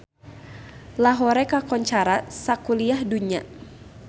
Lahore kakoncara sakuliah dunya